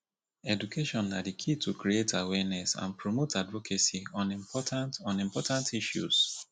education na di key to create awareness and promote advocacy on important on important issues